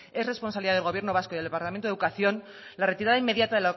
es responsabilidad del gobierno vasco y del departamento de educación la retirada inmediata